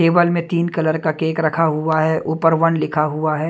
Table में तीन colour का केक रखा हुआ है ऊपर वन लिखा हुआ है।